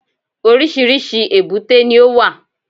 Oríṣìíríṣìí èbúté ni ó wà